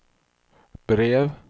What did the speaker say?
brev